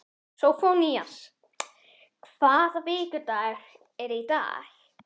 Sófónías, hvaða vikudagur er í dag?